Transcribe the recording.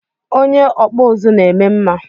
Onye okpu uzu na-eme mma